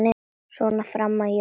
Svona fram að jólum.